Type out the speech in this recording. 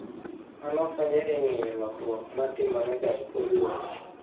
Mano konyo e geng'o lokruok ma timorega e kor lwasi.